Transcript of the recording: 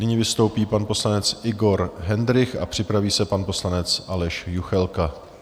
Nyní vystoupí pan poslanec Igor Hendrych a připraví se pan poslanec Aleš Juchelka.